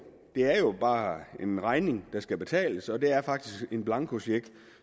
bare en regning der skal betales og det er faktisk en blankocheck